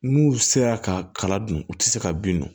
N'u sera ka kala dun u tɛ se ka bin don